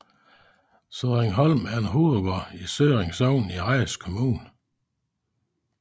Sødringholm er en hovedgård i Sødring Sogn i Randers Kommune